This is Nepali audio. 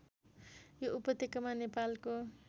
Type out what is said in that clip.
यो उपत्यकामा नेपालको